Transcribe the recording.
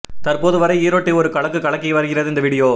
தற்போது வரை ஈரோட்டை ஒரு கலக்கு கலக்கி வருகிறது இந்த வீடியோ